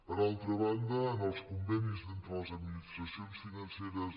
per altra banda en els convenis entre les administracions financeres